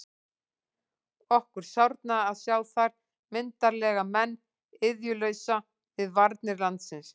Okkur sárnaði að sjá þar myndarlega menn iðjulausa við varnir landsins.